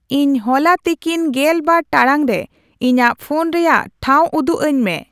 ᱤᱧ ᱦᱚᱞᱟ ᱛᱤᱠᱤᱱ ᱜᱮᱞ ᱵᱟᱨ ᱴᱟᱲᱟᱝ ᱨᱮ ᱤᱧᱟᱹᱜ ᱯᱷᱳᱱ ᱨᱮᱭᱟᱜ ᱴᱷᱟᱶ ᱩᱫᱩᱜ ᱟᱹᱧᱢᱮ